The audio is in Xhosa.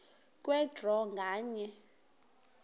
kwe draw nganye